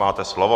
Máte slovo.